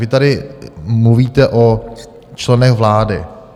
Vy tady mluvíte o členech vlády.